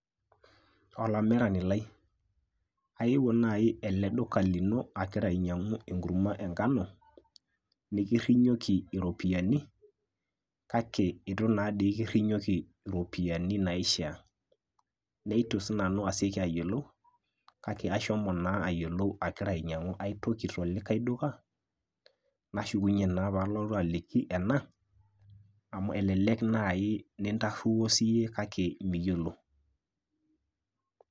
Olamirani lai, aewuo nai ele duka lino agira ainyang'u enkurma e ngano nikirrinyoki iropiyiani, kake itu natoi kirrinyoki iropiyiani naishaa. Neitu sinanu aseki ayiolou, kake ashomo naa ayiolou agira ainyang'u ai toki tolikae duka, nashukunye naa palotu aaliki ena amu elelek nai nitarruo siyie kake miyiolo.